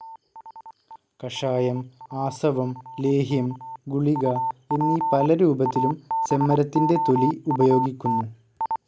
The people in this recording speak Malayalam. കഷായം, ആസവം, ലേഹ്യം, ഗുളിക എന്നീ പലരൂപത്തിലും ചെമ്മരത്തിന്റെ തൊലി ഉപയോഗിക്കുന്നു.